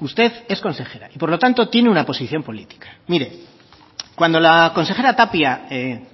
usted es consejera y por lo tanto tiene una posición política mire cuando la consejera tapia